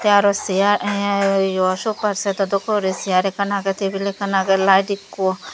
aro siar enh yo sopa set o dokke guri siar ekkan age tibil ekkan age lite ekko.